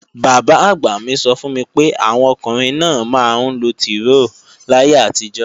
Bàbá-àgbà mí sọ fún mi pé, àwọn ọkùnrin náà máa ńlo tìróò láyé àtijó